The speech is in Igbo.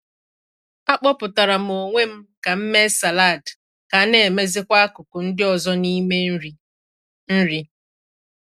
A kpọpụtara m onwe m ka m mee salad ka a na-emezịkwa akụkụ ndị ọzọ n’ime nri. nri.